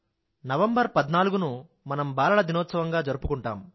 November పధ్నాలుగు ను మనం బాలల దినోత్సవంగా జరుపుకుంటాం